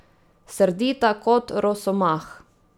Srdita kot rosomah.